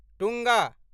टुङ्ग